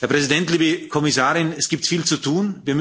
Herr Präsident, liebe Kommissarin, es gibt viel zu tun.